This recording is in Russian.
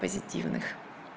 позитивных